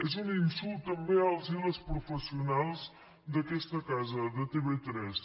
és un insult també als i les professionals d’aquesta casa de tv3